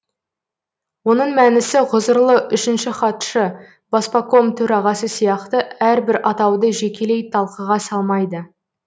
оның мәнісі ғұзырлы үшінші хатшы баспаком төрағасы сияқты әрбір атауды жекелей талқыға салмайды